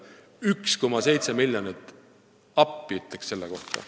1,7 miljonit – ma ütleks "Appi!" selle peale.